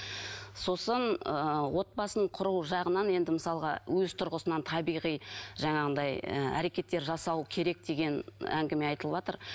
сосын ы отбасын құру жағынан енді мысалға өз тұрғысынан табиғи жаңағындай ы әрекеттер жасау керек деген әңгіме айтылыватыр